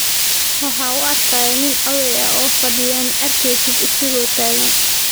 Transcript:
Waxa uu arkayo nin oday ah oo fadhiya, ma arkaysid isagoo taagan.